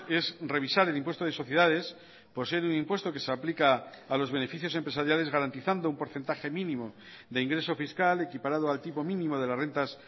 es revisar el impuesto de sociedades por ser un impuesto que se aplica a los beneficios empresariales garantizando un porcentaje mínimo de ingreso fiscal equiparado al tipo mínimo de las rentas